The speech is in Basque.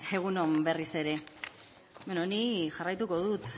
egun on berriz ere ni jarraituko dut